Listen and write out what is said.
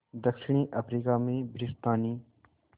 दक्षिण अफ्रीका में ब्रितानी